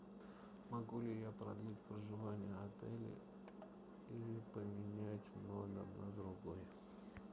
могу ли я продлить проживание в отеле или поменять номер на другой